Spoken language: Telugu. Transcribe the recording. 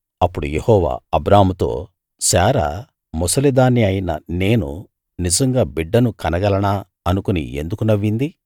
అప్పుడు యెహోవా అబ్రాహాముతో శారా ముసలిదాన్ని అయిన నేను నిజంగా బిడ్డను కనగలనా అనుకుని ఎందుకు నవ్వింది